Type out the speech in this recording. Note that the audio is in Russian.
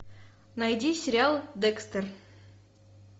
найди сериал декстер